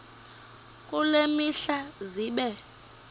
kule mihla zibe